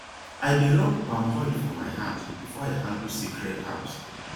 i dey rub palm oil for my hand before i handle sacred herbs